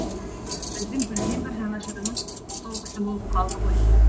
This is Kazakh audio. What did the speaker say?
біздің бірден бір жанашырымыз сол кісі болып қалды ғой